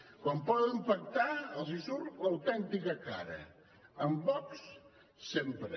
quan poden pactar els surt l’autèntica cara amb vox sempre